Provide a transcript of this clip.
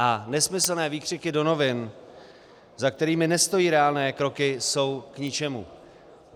A nesmyslné výkřiky do novin, za kterými nestojí reálné kroky, jsou k ničemu.